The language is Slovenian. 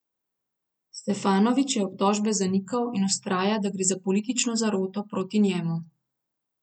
Stefanović je obtožbe zanikal in vztraja, da gre za politično zaroto proti njemu.